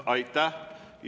Aitäh!